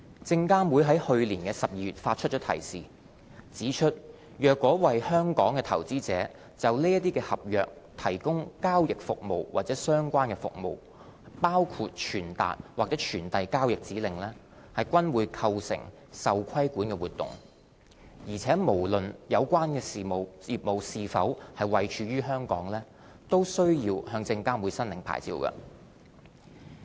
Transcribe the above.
證監會在去年12月發出提示，指出若為香港投資者就這些合約提供交易服務及相關服務，包括傳達或傳遞交易指令，均構成受規管活動，且無論有關業務是否位處香港，均須向證監會申領牌照。